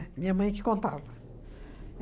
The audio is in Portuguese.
Minha mãe que contava.